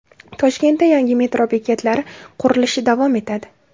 Toshkentda yangi metro bekatlari qurilishi davom etadi.